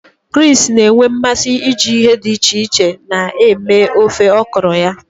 Chris na-enwe mmasị iji ihe dị iche iche na-eme ofe okro ya.